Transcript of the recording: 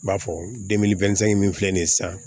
N b'a fɔ min filɛ nin ye sisan